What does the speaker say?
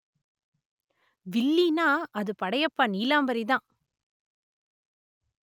வில்லின்னா அது படையப்பா நீலாம்பரிதான்